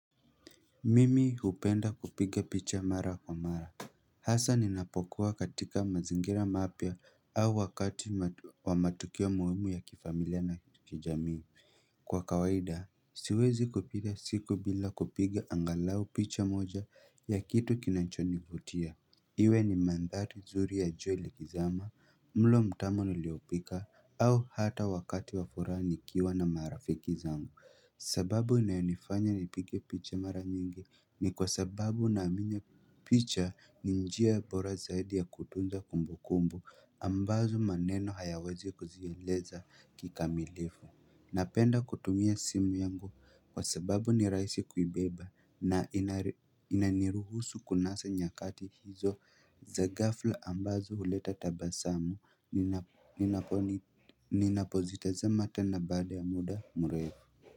Mimi hupenda kupiga picha mara kwa mara Hasa ninapokuwa katika mazingira mapya au wakati wa matukio muhimu ya kifamilia na kijamii. Kwa kawaida, siwezi kupita siku bila kupiga angalau picha moja ya kitu kinachonivutia Iwe ni mandhari zuri ya jua likizama, mlo mtamu niliopika, au hata wakati wa furaha nikiwa na marafiki zangu. Sababu inayonifanya nipige picha mara nyingi ni kwa sababu naamini picha ni njia bora zaidi ya kutunza kumbukumbu ambazo maneno hayawezi kuzieleza kikamilifu. Napenda kutumia simu yangu kwa sababu ni rahisi kuibeba na inaniruhusu kunasa nyakati hizo za ghafla ambazo huleta tabasamu ninapozitazama tena baada ya muda mrefu.